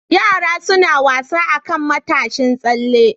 Yara suna wasa akan matashin tsalle.